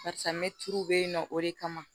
Barisa me tulu bɛ yen nɔ o de kama